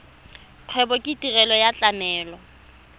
kgwebo ke tirelo ya tlamelo